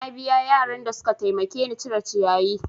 Na biya yaran da suka taimake ni da cire ciyayi.